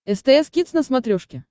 стс кидс на смотрешке